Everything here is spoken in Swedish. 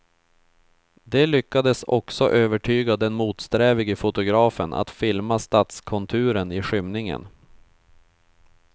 De lyckades också övertyga den motsträvige fotografen att filma stadskonturen i skymningen.